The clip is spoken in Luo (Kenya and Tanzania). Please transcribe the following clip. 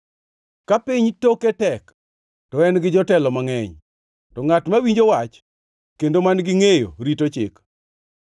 Ka piny toke tek, to en gi jotelo mangʼeny, to ngʼat mawinjo wach kendo man-gi ngʼeyo rito chik.